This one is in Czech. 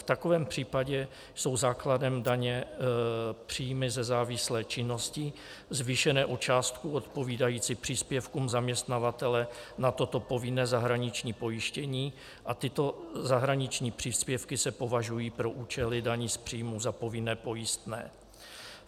v takovém případě jsou základem daně příjmy ze závislé činnosti zvýšené o částku odpovídající příspěvkům zaměstnavatele na toto povinné zahraniční pojištění a tyto zahraniční příspěvky se považují pro účely daní z příjmů za povinné pojistné."